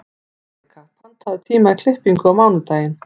Malika, pantaðu tíma í klippingu á mánudaginn.